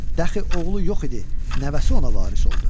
Dəxi oğlu yox idi, nəvəsi ona varis oldu.